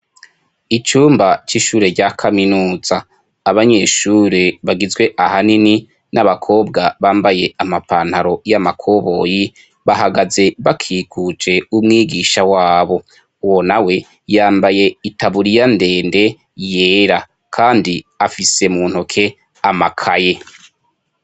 Icumba c'ishure rya kaminuza, abanyeshure bagizwe ahanini n'abakobwa bambaye amapantaro ya makoboyi, bahagaze bakikujwe umwigisha wabo, uwo nawe yambaye itaburiya ndende yera, kandi afise mu ntoke amakaye.